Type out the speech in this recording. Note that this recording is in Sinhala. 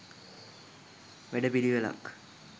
වැඩ පිළිවෙළක්